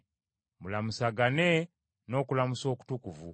Mulamusagane n’okulamusa okutukuvu.